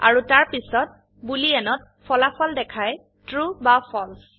আৰু তাৰপিছত বুলিয়েনত ফলাফল দেখায় ট্ৰু বা ফালছে